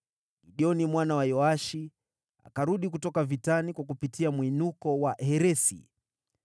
Gideoni mwana wa Yoashi akarudi kutoka vitani kwa kupitia Mwinuko wa Heresi.